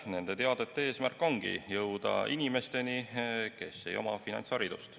Nende teadete eesmärk ongi jõuda inimesteni, kes ei oma finantsharidust.